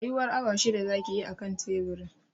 Tsayuwar awa shida zaki yi a kan teburin